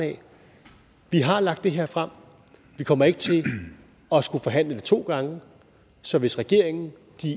vi har lagt det her frem og vi kommer ikke til at skulle forhandle det to gange så hvis regeringen